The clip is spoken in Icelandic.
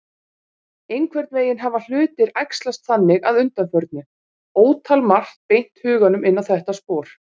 Einhvern veginn hafa hlutir æxlast þannig að undanförnu, ótalmargt beint huganum inn á þetta spor.